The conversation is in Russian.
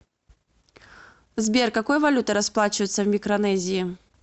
сбер какой валютой расплачиваются в микронезии